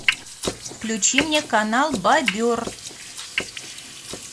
включи мне канал бобер